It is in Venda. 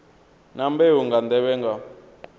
na mbeu nga nḓevhe nga